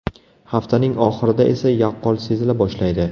Haftaning oxirida esa yaqqol sezila boshlaydi.